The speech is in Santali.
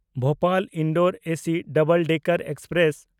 ᱵᱷᱳᱯᱟᱞ–ᱤᱱᱫᱳᱨ ᱮᱥᱤ ᱰᱟᱵᱚᱞ ᱰᱮᱠᱟᱨ ᱮᱠᱥᱯᱨᱮᱥ